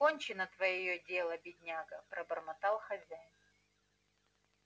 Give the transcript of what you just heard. кончено твоё дело бедняга пробормотал хозяин